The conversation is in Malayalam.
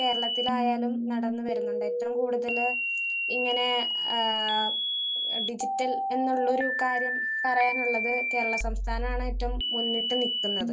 സ്പീക്കർ 1 കേരളത്തിലായാലും നടന്നു വരുന്നുണ്ട്. ഏറ്റവും കൂടുതല് ഇങ്ങനെ ആഹ് ഡിജിറ്റൽ എന്നുള്ളൊരു കാര്യം പറയാനുള്ളത് കേരള സംസ്ഥാനാണ് ഏറ്റവും മുന്നിട്ട് നിൽക്കുന്നത്.